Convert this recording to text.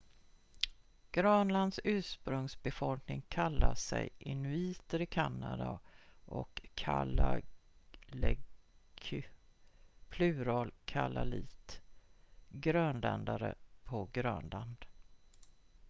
grönlands ursprungsbefolkning kallar sig inuiter i kanada och kalaalleq plural kalaallit grönländare på grönland